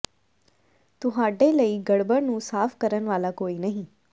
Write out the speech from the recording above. ਤੁਹਾਡੇ ਲਈ ਗੜਬੜ ਨੂੰ ਸਾਫ ਕਰਨ ਵਾਲਾ ਕੋਈ ਨਹੀਂ